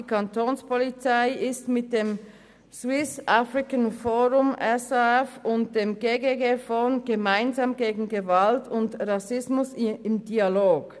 Die Kapo ist mit dem Swiss African Forum (SAF) und dem gggfon – Gemeinsam gegen Gewalt und Rassismus im Dialog.